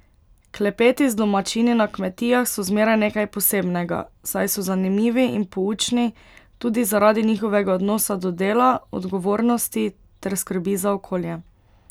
Klepeti z domačini na kmetijah so zmeraj nekaj posebnega, saj so zanimivi in poučni tudi zaradi njihovega odnosa do dela, odgovornosti ter skrbi za okolje.